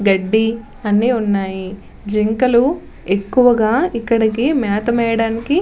గడ్డి అన్ని ఉన్నాయి. జింకలు ఎక్కువగా ఇక్కడకి మేత మేయడాకి --